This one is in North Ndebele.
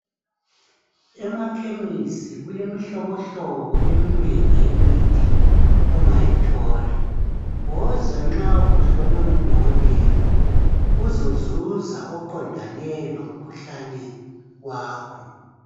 Emakhemisi kulemihlobohlobo eminengi yemithi ongayithola. Woza nxa kuhlolwe ngudokotela uzozuza oqondane lomkhuhlane wakho.